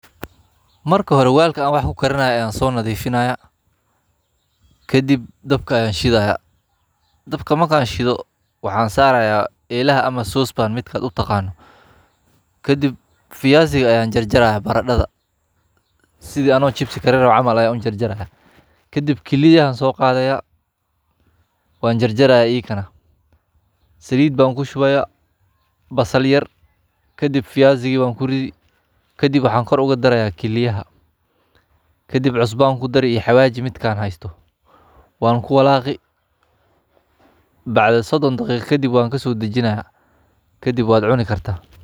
Maka hoe welka an wax kukainayo ayan sodaqaya kadi elaha ayan daka saraya Kadib barado aya jarjaraya kadib kiliyaha ayan jarjaraya salid ayan kushubi kadib cusbo iyo xawaji ayan kudaraya kadib waqti yaran sinaya wan kasodajinaya.